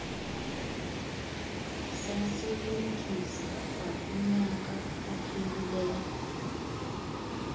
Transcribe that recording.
sasilumkisa kwakunyaka ophelileyo